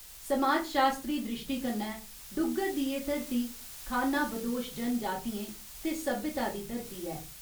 समाजशास्त्री द्रिश्टी कन्नै डुग्गर दी एह् धरती खान्नाबदोश जनजातियें ते सभ्यता दी धरती ऐ।